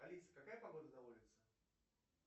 алиса какая погода на улице